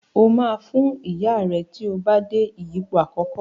O ma Fún Ìyá rẹ tíó bá dé ìyípo àkókò.